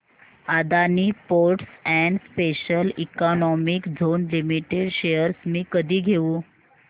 Adani ports and special economic zone limited shares मी कधी घेऊ